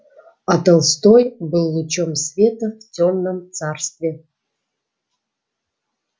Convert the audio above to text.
а толстой был лучом света в тёмном царстве